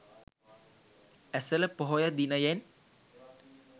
Esala Poya දිනයෙන්